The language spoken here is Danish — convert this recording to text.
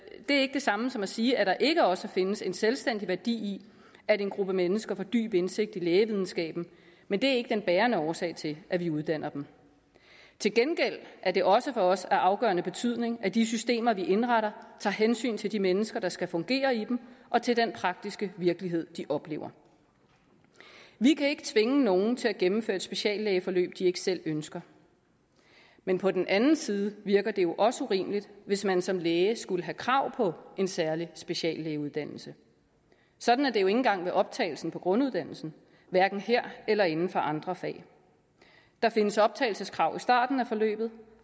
det samme som at sige at der ikke også findes en selvstændig værdi i at en gruppe mennesker får dyb indsigt i lægevidenskaben men det er ikke den bærende årsag til at vi uddanner dem til gengæld er det også for os af afgørende betydning at de systemer vi indretter tager hensyn til de mennesker der skal fungere i dem og til den praktiske virkelighed de oplever vi kan ikke tvinge nogen til at gennemføre et speciallægeforløb de ikke selv ønsker men på den anden side virker det jo også urimeligt hvis man som læge skulle have krav på en særlig speciallægeuddannelse sådan er det jo ikke engang ved optagelsen på grunduddannelsen hverken her eller inden for andre fag der findes optagelseskrav i starten af forløbet